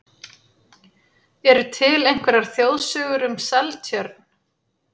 Eru til einhverjar þjóðsögur um Seltjörn?